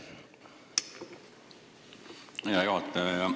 Aitäh, hea juhataja!